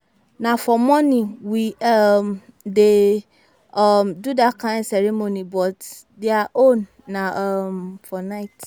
Na for morning we um dey um do dat kin ceremony but their own na um for night